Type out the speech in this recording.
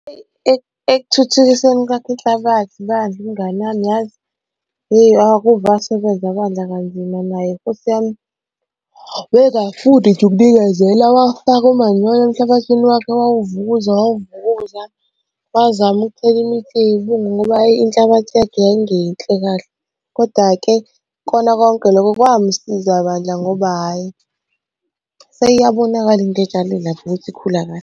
Ekuthuthukiseni kwakho inhlabathi bandla, umngani wami yazi, yeyi akuve asebenza bandla kanzima naye nkosi yami. Wayengafuni nje ukunikezela, wafaka umanyolo emhlabathini wakhe wawuvukuza wawuvukuza. Wazama ukuthela imithi yey'bungu ngoba inhlabathi yakhe yayingeyinhle kahle, kodwa-ke kukona konke lokho kwamusiza bandla ngoba hhayi seyabonakala into ayitshale lapha ukuthi ikhula kahle.